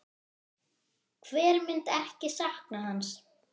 Hver myndi ekki sakna hans?